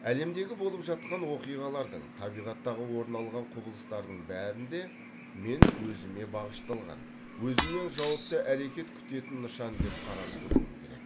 әлемдегі болып жатқан оқиғалардың табиғаттағы орын алған құбылыстардың бәрін де мен өзіме бағышталған өзімнен жауапты әрекет күтетін нышан деп қарастыруым керек